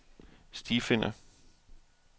stifinder